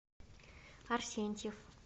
арсентьев